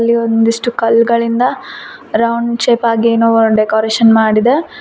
ಇಲ್ಲಿ ಒಂದಿಷ್ಟು ಕಲ್ಗಳಿಂದ ರೌಂಡ್ ಶೇಪ್ ಆಗಿ ಏನೋ ಒನ್ ಡೆಕೋರೇಷನ್ ಮಾಡಿದೆ.